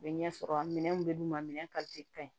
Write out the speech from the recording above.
U bɛ ɲɛsɔrɔ minɛn mun be d'u ma minɛn kaɲi